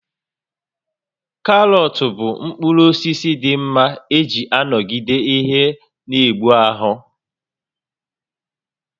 Karọt bụ mkpụrụ osisi dị mma iji nọgide ihe n'egbu ahụ